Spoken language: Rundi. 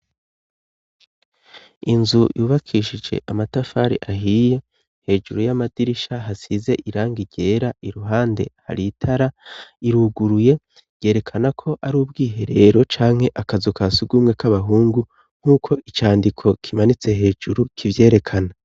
Inzu yubakishije amatafari ahiye. Hejuru y'amadirisha hasize irangi ryera. Iruhande, har'itara, iruguruye yerekanako ari ubwiherero canke akazu ka surwumwe k'abahungu nk'uko icandiko kimanitse hejuru kivyerekana.